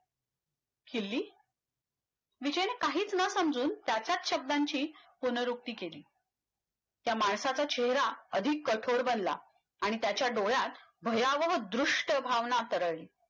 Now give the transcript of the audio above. किल्ली, विजयनं काहीच न समजून त्याच्याच शब्दाची पुनरवृत्ती केली त्या माणसाचा चेहरा अधिक कठोर बनला आणि त्याच्या डोळ्यात भयावह दृष्ट भावना तरळली